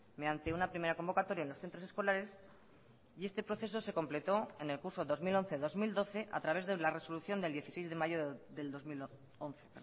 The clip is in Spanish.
mediante una primera convocatoria en los centros escolares y este proceso se completó en el curso dos mil once dos mil doce a través de la resolución del dieciséis de mayo del dos mil once